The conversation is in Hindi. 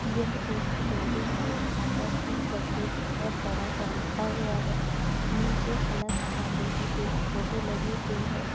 यह एक बिल्डिंग हैं। जहाँ पर पी डब्ल्यू बहुत बड़ा सा लिखा हुआ है। नीचे अलख पांडे की एक फोटो लगी हुई है।